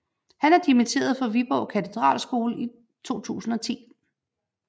Han er dimitteret fra Viborg Katedralskole i 2010